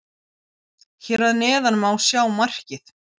Hér að neðan má sjá markið.